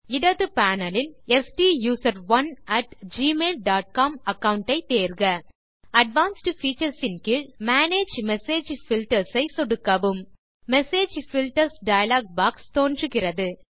இடது panelஇல் STUSERONEgmail dot com account ஐ தேர்க அட்வான்ஸ்ட் பீச்சர்ஸ் ன் கீழ் மேனேஜ் மெசேஜ் பில்டர்ஸ் ஐ சொடுக்கவும் மெசேஜ் பில்டர்ஸ் டயலாக் பாக்ஸ் தோன்றுகிறது